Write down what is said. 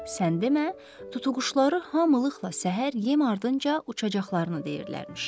Sən demə, tutuquşuları hamılıqla səhər yem ardınca uçacaqlarını deyirlərmiş.